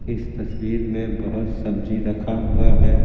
इस तस्वीर में बहुत सब्जी रखा हुआ है।